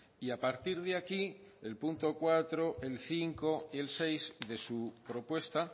y a partir de aquí el punto cuatro el cinco y el seis de su propuesta